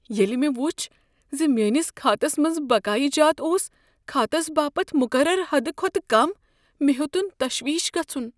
ییٚلہ مےٚ وچھ ز میانِس كھاتس منز بقایہِ جات اوس كھاتس باپت مقرر حد كھوتہٕ كم مےٚ ہیوتٖن تشویش گژھن۔